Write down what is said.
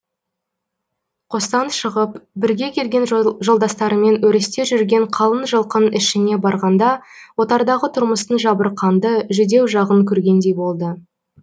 қостан шығып бірге келген жолдастарымен өрісте жүрген қалың жылқының ішіне барғанда отардағы тұрмыстың жабырқанды жүдеу жағын көргендей болды